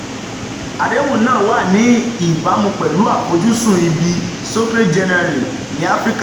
àdéhùn náà wà ní ìbámu pẹ̀lú àfojúsùn ìbísí societe generale ní áfíríkà.